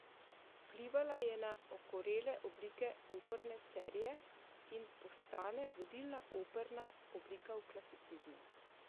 Vplivala je na okorele oblike opere serie in postane vodilna operna oblika v klasicizmu.